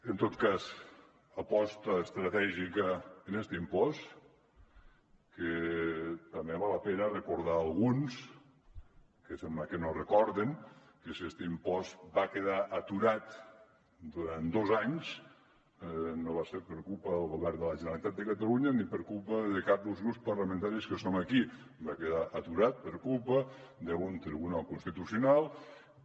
en tot cas aposta estratègica en este impost que també val la pena recordar a alguns que sembla que no ho recorden que si este impost va quedar aturat durant dos anys no va ser per culpa del govern de la generalitat de catalunya ni per culpa de cap dels grups parlamentaris que som aquí va quedar aturat per culpa d’un tribunal constitucional que